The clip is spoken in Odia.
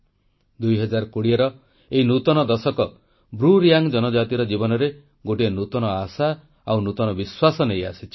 2020ର ଏଇ ନୂତନ ଦଶକ ବ୍ରୁ ରିୟାଙ୍ଗ ଜନଜାତିର ଜୀବନରେ ଗୋଟିଏ ନୂତନ ଆଶା ଆଉ ନୂତନ ବିଶ୍ୱାସ ନେଇଆସିଛି